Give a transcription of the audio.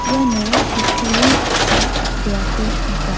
iano kutturi ge·sa dal·beako nika.